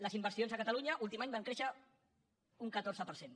les inversions a ca·talunya l’últim any van créixer un catorze per cent